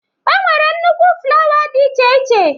E nwere nnukwu flawa dị iche iche.